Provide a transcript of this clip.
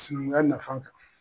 Sinankunya nafan kan.